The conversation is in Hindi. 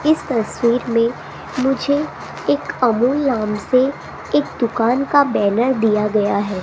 इस तस्वीर में मुझे एक अमूल नाम से एक दुकान का बैनर दिया गया है।